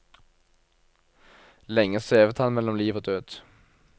Lenge svevet han mellom liv og død.